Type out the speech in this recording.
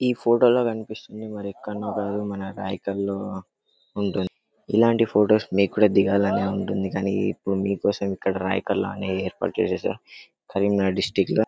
ఏ photo లో కనిపిస్తుంది ఎక్కన్నో కాదు మన రాయకల్లో ఉంది ఇలాంటి ఫొటోస్ మీకుందా దిగాలని ఉండ్తుంది కానీ మీకోసం ఇప్పుడు రాయకల్లుని ఏర్పాటు చేసేసా కరీంనగర్ డిస్టిక్ట్ ల